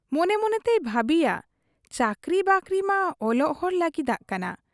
ᱢᱚᱱᱮ ᱢᱚᱱᱮᱛᱮᱭ ᱵᱷᱟᱹᱵᱤᱭᱟ, ᱪᱟᱹᱠᱨᱤ ᱵᱟᱹᱠᱨᱤᱢᱟ ᱚᱞᱚᱜ ᱦᱚᱲ ᱞᱟᱹᱜᱤᱫᱟᱜ ᱠᱟᱱᱟ ᱾